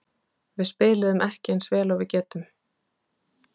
Við spiluðum ekki eins vel og við getum.